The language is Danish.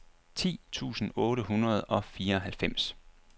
ti tusind otte hundrede og fireoghalvfems